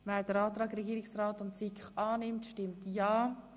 Wer den Antrag Regierungsrat und SiK annimmt, stimmt ja,